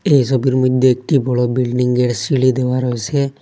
এই ছবির মইধ্যে একটি বড় বিল্ডিংয়ের সিঁড়ি দেওয়া রয়েসে।